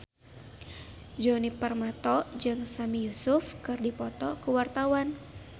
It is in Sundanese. Djoni Permato jeung Sami Yusuf keur dipoto ku wartawan